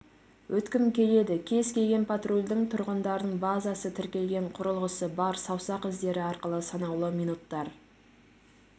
өткім келеді кез келген патрульдің тұрғындардың базасы тіркелген құрылғысы бар саусақ іздері арқылы санаулы минуттар